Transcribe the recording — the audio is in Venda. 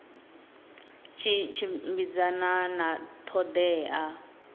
tshi tshimbidzana na ṱho ḓea